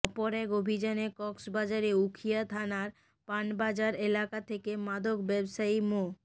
অপর এক অভিযানে কক্সবাজারের উখিয়া থানার পান বাজার এলাকা থেকে মাদক ব্যবসায়ী মো